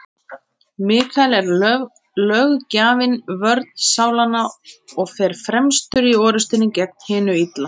Mikael er löggjafinn, vörn sálanna, og fer fremstur í orrustunni gegn hinu illa.